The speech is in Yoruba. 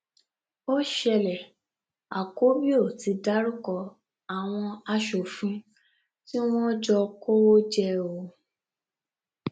ọpẹlọpẹ ikọ sosafe tí wọn gbà ya àwọn ajínigbé náà ni wọn gba maria àti ọmọ rẹ kalẹ lọwọ wọn